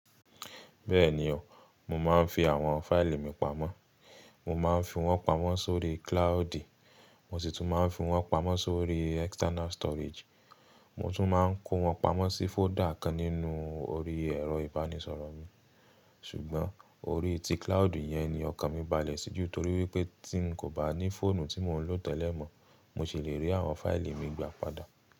Bẹ́ẹ̀ni o, mo máa ń fi àwọn fáìlì mi pamọ́. Mo máa ń fi wọ́n pamọ́ sórí cloude, mo sì tún máa ń fi wọ́n pamọ́ sórí external storage. Mo tún máa ń kó wọn pamọ́ sí fóldà kan nínú orí ẹ̀rọ-ìbánisọ̀rọ̀ mi. Ṣùgbọ́n orí ti cloude yẹn ni ọkàn mi balẹ̀ sí jù torí wípé tí ń kò bá ní fóònù tí mò ń lò tẹ́lẹ̀ mọ, mo sì lè rí àwọn fáìlì mi gbà padà.